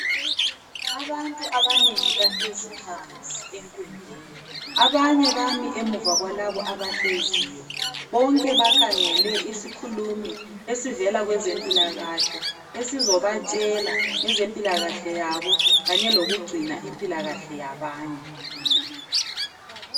Abantu abanengi bahlezi phansi enkundleni abanye bami emuva kwalabo abahleziyo, bonke bakhangele isikhulumi esivela kwezempilakahle esizobatshela ngezempilakahle yabo kanye lokugcina impilakahle yabanye.